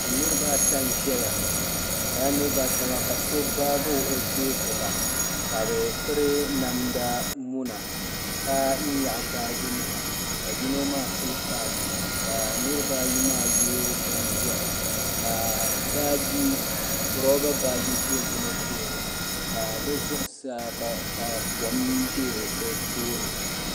Niriba ata n-ʒeya lala niriba ata maa so gbaagi o kpee gbuba ka bɛ piri namda muna ka nyaɣi baajinima ka yino maa pili kapu ka niriba ayi maa ye bin'ʒɛhi ka roba baaji ʒe yino tooni ka kom be bɛ tooni.